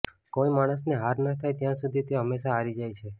કોઈ માણસને હાર ન થાય ત્યાં સુધી તે હમેશાં હારી જાય છે